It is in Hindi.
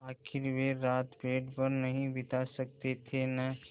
आखिर वे रात पेड़ पर नहीं बिता सकते थे न